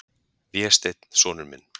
Vésteinn, sonur minn.